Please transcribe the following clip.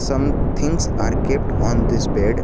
Some things are kept on this bed.